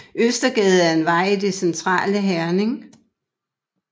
Østergade er en vej i det centrale Herning